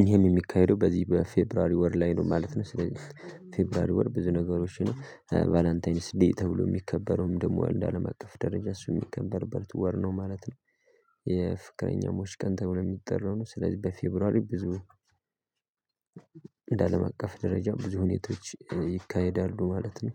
ይሄም የሚካሄደው በዚህ በፌበርዋሪ ወር ላይ ነው ማለት ነው። ስለዚህ ፌበርዋሪ ወር ብዙ ነገሮችን ቫላንታኒስ ደይ ተብሎ የሚከበረውም ደግሞ አለ አለም አቀፍ ደረጃ ሚከበርበት ወር ነው ማለት ነው። የፍቅረኛሞች ቀን ተብሎ የሚጠራው ነው ስለዚህ በፌበርዋሪ ብዙ እንደ አለም አቀፍ ደረጃ ብዙ ሁኔታዎች ይካሄዳሉ ማለት ነው